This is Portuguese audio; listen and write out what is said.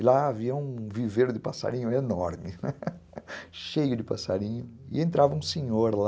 E lá havia um viveiro de passarinho enorme, cheio de passarinho, e entrava um senhor lá,